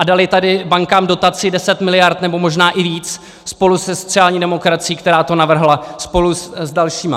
A dali tady bankám dotaci 10 miliard, nebo možná i víc, spolu se sociální demokracií, která to navrhla, spolu s dalšími.